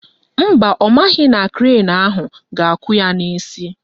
Mba, ọ maghị na krenu ahụ ga-akụ ya n'isi